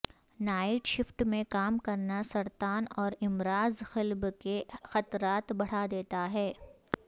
night shift میں کام کرنا سرطان اور امراض قلب کے خطرات بڑھا دیتا ہے